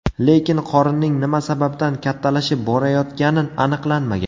Lekin qorinning nima sababdan kattalashib borayotgani aniqlanmagan.